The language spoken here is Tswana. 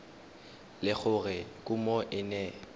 le gore kumo e ne